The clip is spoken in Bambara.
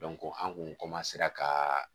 an kun ka